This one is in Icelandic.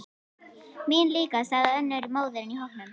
Mín líka, sagði önnur móðir í hópnum.